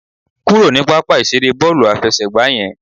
Kúrò ní pápá ìseré bọ́ọ̀lù àfẹsẹ̀gbá yẹn